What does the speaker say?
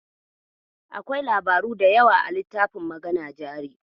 Akwai labaru da yawa a littafin Magana jari.